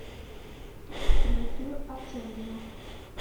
дмитрию артемьеву